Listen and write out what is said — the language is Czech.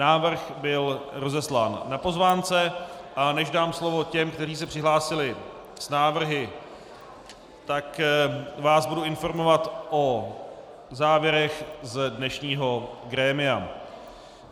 Návrh byl rozeslán na pozvánce, a než dám slovo těm, kteří se přihlásili s návrhy, tak vás budu informovat o závěrech z dnešního grémia.